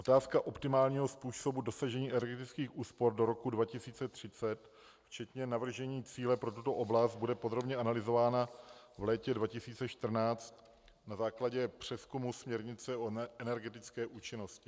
Otázka optimálního způsobu dosažení energetických úspor do roku 2030, včetně navržení cíle pro tuto oblast, bude podrobně analyzována v létě 2014 na základě přezkumu směrnice o energetické účinnosti.